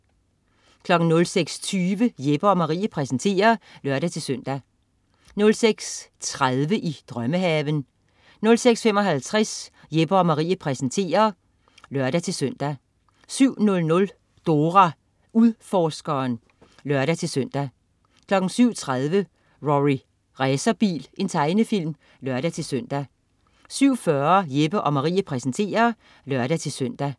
06.20 Jeppe & Marie præsenterer (lør-søn) 06.30 I drømmehaven 06.55 Jeppe & Marie præsenterer (lør-søn) 07.00 Dora Udforskeren (lør-søn) 07.30 Rorri Racerbil. Tegnefilm (lør-søn) 07.40 Jeppe & Marie præsenterer (lør-søn)